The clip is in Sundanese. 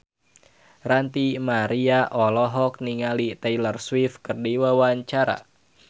Ranty Maria olohok ningali Taylor Swift keur diwawancara